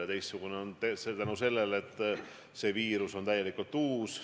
Ja teistsugune on see sellepärast, et see viirus on täiesti uus.